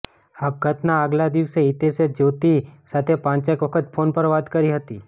આપઘાતના આગલા દિવસે હિતેશે જ્યોતિ સાથે પાંચેક વખત ફોન પર વાત કરી હતી